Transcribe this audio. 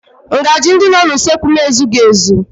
Ngaji ndị nọ n'usekwu m ezughị ezu